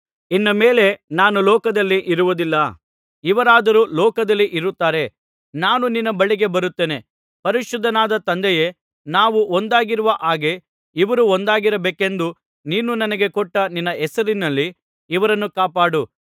ಇನ್ನು ಮೇಲೆ ನಾನು ಲೋಕದಲ್ಲಿ ಇರುವುದಿಲ್ಲ ಇವರಾದರೋ ಲೋಕದಲ್ಲಿ ಇರುತ್ತಾರೆ ನಾನು ನಿನ್ನ ಬಳಿಗೆ ಬರುತ್ತೇನೆ ಪರಿಶುದ್ಧನಾದ ತಂದೆಯೇ ನಾವು ಒಂದಾಗಿರುವ ಹಾಗೆ ಇವರೂ ಒಂದಾಗಿರಬೇಕೆಂದು ನೀನು ನನಗೆ ಕೊಟ್ಟ ನಿನ್ನ ಹೆಸರಿನಲ್ಲಿ ಇವರನ್ನು ಕಾಪಾಡು